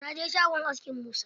Na je shagon askin Musa.